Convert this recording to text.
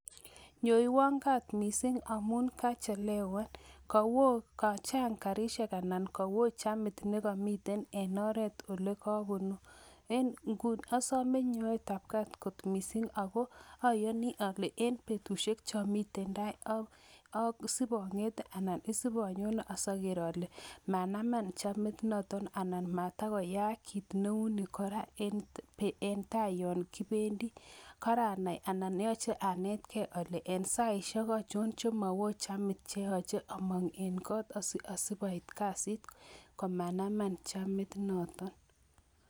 Nyoyuon gaat kot missing amun kachelewan, kachang garisiek anan kowo chamit nekomiten en oret olekobunuu. En inguni osome nyoetab gaat kot missing ak ayonii ole en betusiek chemiten tai asibongete anan asipanyone asiogeer ale manaman chamit notok, anan matakoyaak kit neunii kora en taa yon kibendii. Karanai anan yoche anetgei ale en saisiek ochon chemowoo chamit cheoche among en got asiasibait kasit komanaman chamit noton .